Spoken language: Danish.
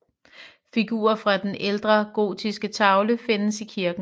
Figurer fra en ældre gotisk tavle findes i kirken